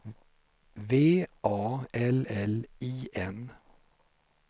V A L L I N